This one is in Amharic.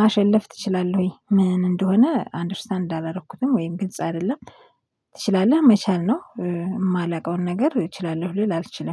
ማሸለፍ ትችላለህ ወይ ምን እንደሆነ አንደርስታንድ አላረኩትም ወይም ግልጽ አይደለም። ትችላለህ መቻል ነው የማላውቀውን ነገር እችላለሁ ልል አልችልም